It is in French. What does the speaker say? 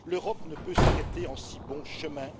L'Europe ne peut s'arrêter en si bon chemin.